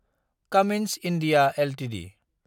Cummins India Ltd